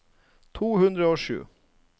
to hundre og sju